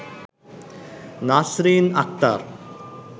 Nasrin Akter